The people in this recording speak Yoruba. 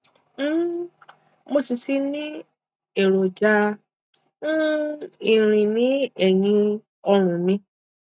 um mo sì ti ní èròjà um irin ní ẹyìn ọrùn mi